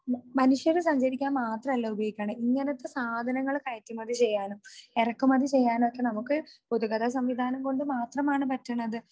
മനുഷ്യർ സഞ്ചരിക്കാൻ മാത്രല്ല ഉപയോഗിക്കണത്. ഇങ്ങനത്തെ സാധനങ്ങൾ കയറ്റുമതി ചെയ്യാനും ഇറക്കുമതി ചെയ്യാനുമൊക്കെ നമുക്ക് പൊതുഗതാഗത സംവിധാനം കൊണ്ട് മാത്രമാണ് പറ്റുന്നത്